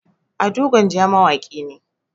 ado gwanja mawaki ne